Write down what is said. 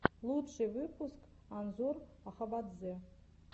лучший выпуск анзор ахабадзе